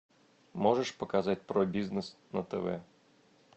можешь показать про бизнес на тв